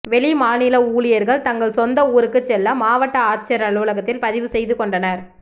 வெளிமாநில ஊழியர்கள் தங்கள் சொந்த ஊருக்கு செல்ல மாவட்ட ஆட்சியர் அலுவலகத்தில் பதிவு செய்து கொண்டனர்